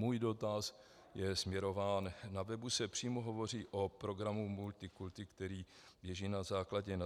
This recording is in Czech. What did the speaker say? Můj dotaz je směrován - na webu se přímo hovoří o programu Multikulti, který běží na základě